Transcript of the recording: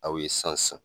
Aw ye san san